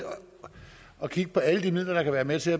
at kigge på alle de midler der kan være med til